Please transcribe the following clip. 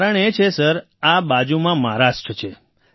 કારણ એ છે સર કે બાજુમાં મહારાષ્ટ્ર છે